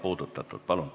Palun!